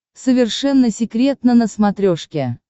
совершенно секретно на смотрешке